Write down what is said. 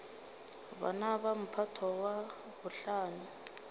bana ba mphato wa bohlano